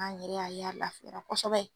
An yɛrɛ y'a ye a laafiyara kosɛbɛ.